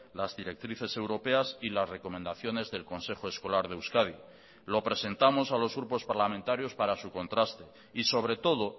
las directrices europeas y las recomendaciones del consejo escolar de euskadi lo presentamos a los grupos parlamentarios para su contraste y sobre todo